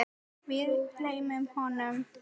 Við gleymum honum!